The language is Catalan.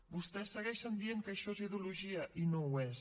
vostès segueixen dient que això és ideologia i no ho és